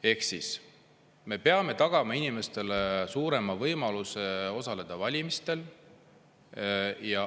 Ehk siis me peame tagama inimestele suurema võimaluse osaleda valimistel.